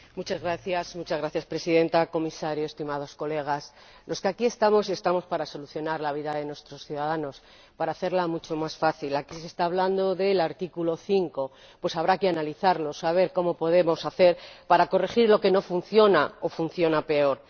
Señora Presidenta, señor Comisario, estimados colegas, los que aquí estamos, estamos para solucionar la vida de nuestros ciudadanos, para hacerla mucho más fácil. Aquí se está hablando del artículo 5, habrá que analizarlo, saber qué podemos hacer para corregir lo que no funciona o funciona peor.